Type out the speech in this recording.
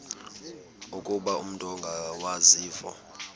ukuba umut ongawazivo